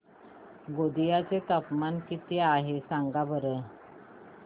गोंदिया चे तापमान किती आहे सांगा बरं